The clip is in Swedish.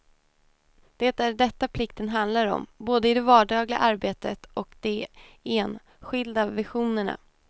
Det är detta plikten handlar om, både i det vardagliga arbetet och de en skilda visionerna.